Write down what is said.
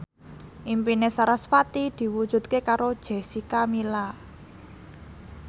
impine sarasvati diwujudke karo Jessica Milla